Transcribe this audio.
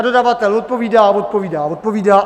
A dodavatel odpovídá a odpovídá a odpovídá.